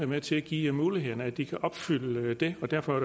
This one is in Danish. med til at give mulighederne for at de kan opfylde det og derfor